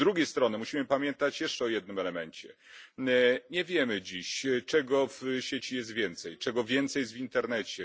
Z drugiej strony musimy pamiętać jeszcze o jednym elemencie nie wiemy dziś, czego w sieci jest więcej, czego więcej jest w internecie.